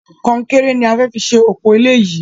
Kọnkéré ni a fẹ fi ṣe òpò ilé yìí